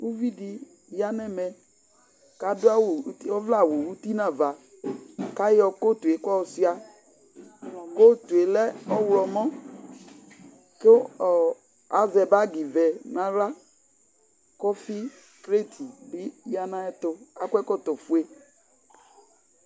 uvi di ya no ɛmɛ ko ado awu ɔvlɛ awu uti no ava ko ayɔ kotu yɛ ko ɔsua kotu yɛ lɛ ɔwlɔmɔ ko azɛ bag vɛ no ala ko ɔfi krate bi ya no ayɛto akɔ ɛkɔtɔ fue